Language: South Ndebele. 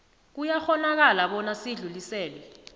kuyakghonakala bona sidluliselwe